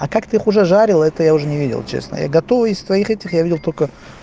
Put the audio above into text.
а как ты их уже жарила это я уже не видел честно я готовы из твоих этих я видел только